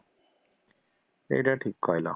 ହେଇଟା ଠିକ କହିଲ